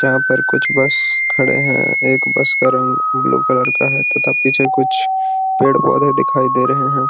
यहाँ पर कुछ बस खड़े हैं एक बस का रंग ब्लू कलर है तथा पीछे कुछ पेड़-पौधे दिखाई दे रहे हैं।